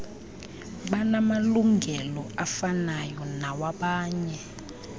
banamalungelo afanayo nawabanye